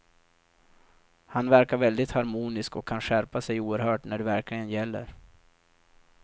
Han verkar väldigt harmonisk och kan skärpa sig oerhört när det verkligen gäller.